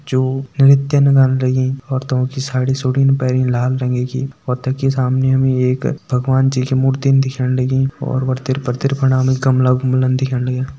जो निर्त्य लगीं औरतों की साडी-सूड़ी पेनी लाल रंगा की और ते की सामने हमें एक भगवान् जी की मूर्तिन दिख्याण लगीं और हमें गमला-गुमला दिख्येण लाग्यां।